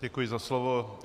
Děkuji za slovo.